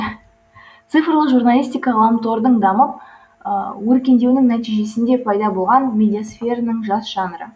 цифрлы журналистика ғаламтордың дамып өркендеуінің нәтижесінде пайда болған медиасфераның жас жанры